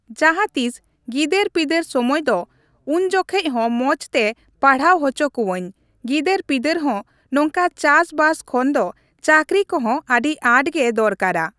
ᱡᱟᱦᱟᱸᱛᱤᱥ ᱜᱤᱫᱟᱹᱨ ᱯᱤᱫᱟᱹᱨ ᱥᱚᱢᱚᱭ ᱫᱚ ᱩᱱᱡᱚᱠᱷᱮᱡ ᱦᱚᱸ ᱢᱚᱸᱡᱽᱛᱮ ᱯᱟᱲᱦᱟᱣ ᱦᱚᱪᱚ ᱠᱚᱣᱟᱹᱧ ᱜᱤᱫᱟᱹᱨ ᱯᱤᱫᱟᱹᱨ ᱦᱚᱸ ᱱᱚᱝᱠᱟ ᱪᱟᱥᱵᱟᱥ ᱠᱷᱚᱱ ᱫᱚ ᱪᱟᱹᱠᱨᱤ ᱠᱚᱦᱚᱸ ᱟᱹᱰᱤ ᱟᱸᱴᱜᱮ ᱫᱚᱨᱠᱟᱨᱟ ᱾